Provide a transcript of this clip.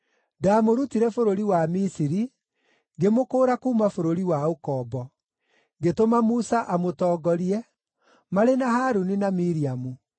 Ndaamũrutire bũrũri wa Misiri, ngĩmũkũũra kuuma bũrũri wa ũkombo. Ngĩtũma Musa amũtongorie, marĩ na Harũni na Miriamu.